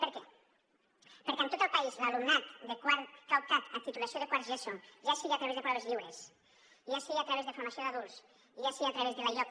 per què perquè en tot el país l’alumnat de quart que ha optat a titulació de quart de geso ja sigui a través de proves lliures ja sigui a través de formació d’adults ja sigui a través de l’ioc